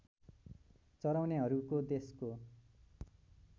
चराउनेहरूको देशको